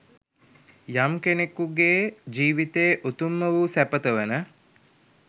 යම් කෙනෙකුගේ ජීවිතයේ උතුම්ම වූ සැපත වන